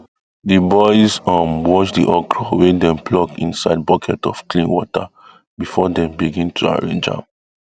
the boys um wash the okro wey dem pluck inside bucket of clean water before dem begin to arrange am